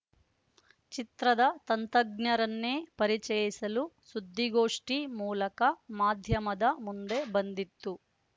ಚಿತ್ರದ ತಂದಜ್ಞರನ್ನೇ ಪರಿಚಯಿಸಲು ಸುದ್ದಿಗೋಷ್ಠಿ ಮೂಲಕ ಮಾಧ್ಯಮದ ಮುಂದೆ ಬಂದಿತ್ತು